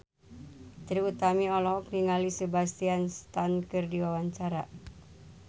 Trie Utami olohok ningali Sebastian Stan keur diwawancara